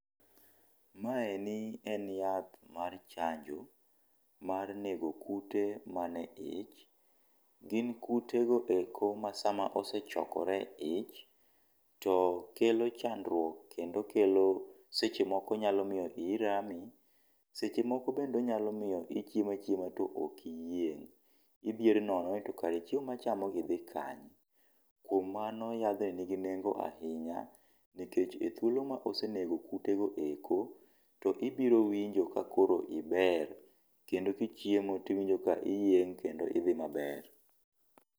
Maeni eni en yath mar chanjo mar nego kute mane ich. Gin kutego eko ma sama osechokore e ich, to kelo chandruok kendo kelo seche moko nyalo miyo iyi rami, seche moko bende onyalo miyo ichiemo achiema to ok iyieng'. Idhier nono ni to kare chiemo machamo gi dhi kanye. Kuom mano yadhni nigi nengo ahinya, nikech e thuolo ma osenego kutego eko, to ibiro winjo ka koro iber kendo kichiemo to iwinjo ka iyieng' kendo idhi maber.